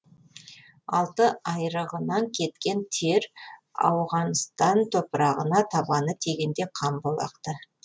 алты айрығынан кеткен тер ауғаныстан топырағына табаны тигенде қан боп ақты